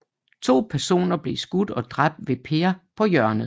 To personer blev skudt og dræbt ved Per på Hjørnet